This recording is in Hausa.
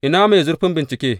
Ina mai zurfin bincike?